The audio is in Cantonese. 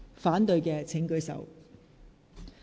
反對的請舉手。